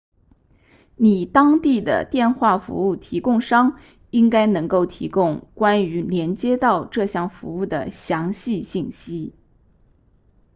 你当地的电话服务提供商应该能够提供关于连接到这项服务的详细信息